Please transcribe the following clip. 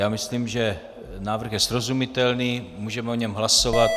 Já myslím, že návrh je srozumitelný, můžeme o něm hlasovat.